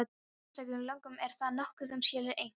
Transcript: Í einstökum lögum er þar nokkuð um skeljar, einkum hallloku.